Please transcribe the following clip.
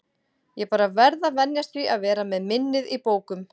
Ég bara verð að venjast því að vera með minnið í bókum.